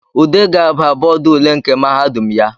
Ude ga-aba bọdụ ule nke mahadum ya